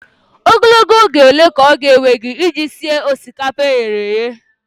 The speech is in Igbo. Ogologo oge ole ka ọ ga-ewe gị iji sie osikapa e ghere eghe?